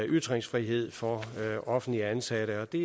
ytringsfrihed for offentligt ansatte og det